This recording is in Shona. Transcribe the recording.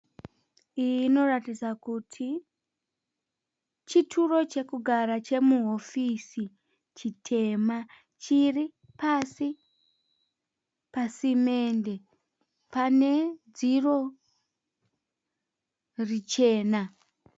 Iyi inoratidza kuti kuti chituro chekugara chemuhofisi chitema chiri pasi pasimende pane dziro richena.